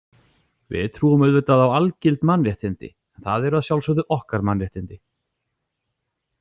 Við trúum auðvitað á algild mannréttindi, en það eru að sjálfsögðu okkar mannréttindi.